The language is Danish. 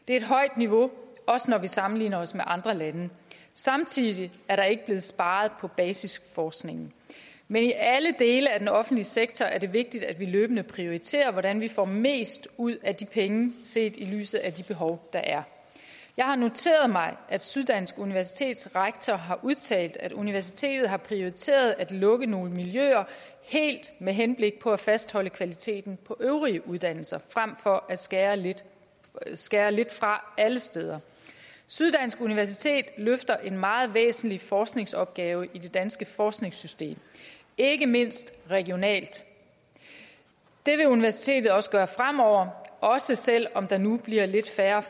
er et højt niveau også når vi sammenligner os med andre lande samtidig er der ikke blevet sparet på basisforskningen men i alle dele af den offentlige sektor er det vigtigt at vi løbende prioriterer hvordan vi får mest ud af de penge set i lyset af de behov der er jeg har noteret mig at syddansk universitets rektor har udtalt at universitetet har prioriteret at lukke nogle miljøer helt med henblik på at fastholde kvaliteten på øvrige uddannelser frem for at skære lidt skære lidt fra alle steder syddansk universitet løfter en meget væsentlig forskningsopgave i det danske forskningssystem ikke mindst regionalt det vil universitetet også gøre fremover også selv om der nu bliver lidt færre